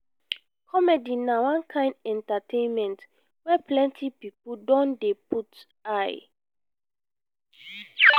comedy na one kain entertainment wey plenty pipo don dey put eye.